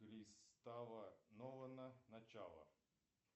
пристава нолана начало